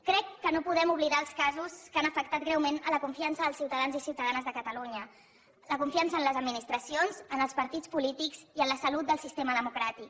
crec que no podem oblidar els casos que han afectat greument la confiança dels ciutadans i ciutadanes de catalunya la confiança en les administracions en els partits polítics i en la salut del sistema democràtic